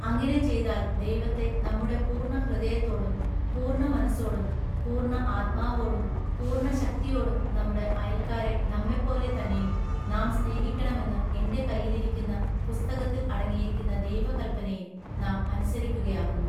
അങ്ങിനെ ചെയ്താൽ ദൈവത്തെ നമ്മുടെ പൂർണ്ണ ഹൃദയത്തോടും പൂർണ്ണ മനസ്സോടും പൂർണ്ണ ആത്മാവോടും പൂർണ്ണ ശക്തിയോടും നമ്മുടെ അയൽക്കാരെ നമ്മെപ്പോലെ തന്നെയും നാം സ്നേഹിക്കേണമെന്നു എൻ്റെ കയ്യിലിരിക്കുന്ന പുസ്തകത്തിൽ അടങ്ങിയിരിക്കുന്ന ദൈവ കല്പനയെ നാം അനുസരിക്കുകയാകുന്നു.